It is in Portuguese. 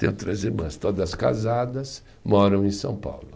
Tenho três irmãs, todas casadas, moram em São Paulo.